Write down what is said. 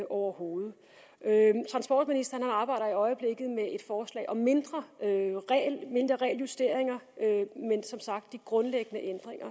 overhovedet transportministeren arbejder i øjeblikket med et forslag om mindre regeljusteringer men som sagt de grundlæggende